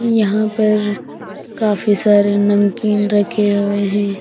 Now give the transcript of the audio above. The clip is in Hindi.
यहां पर काफी सारे नमकीन रखे हुए हैं।